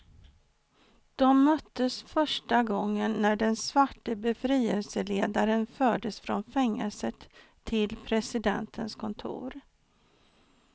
De möttes första gången när den svarte befrielseledaren fördes från fängelset till presidentens kontor.